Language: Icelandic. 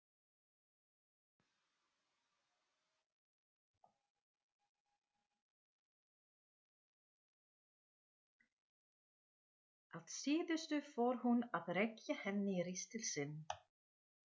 Að síðustu fór hún að rekja henni ristil sinn.